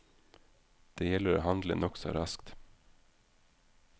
Det gjelder å handle nokså raskt.